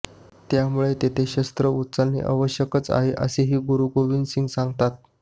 त्यामुळे तेथे शस्त्र उचलणे आवश्यकच आहे असेही गुरु गोविंद सिंग सांगतात